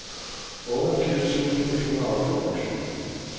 otteogfirs tusind et hundrede og femogtyve